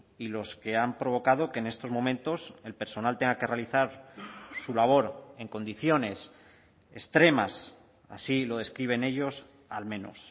y los que han provocado que en estos momentos el personal tenga que realizar su labor en condiciones extremas así lo describen ellos al menos